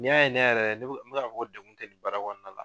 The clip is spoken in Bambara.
N'i y'a ne yɛrɛ n bi ka fɔ ko degun tɛ baara kɔnɔna la